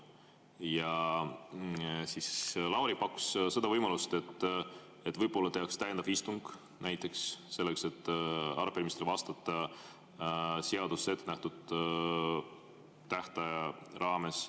Ja Lauri pakkus seda võimalust, et võib-olla tehakse täiendav istung näiteks selleks, et arupärimistele vastata seaduses ette nähtud tähtaja raames.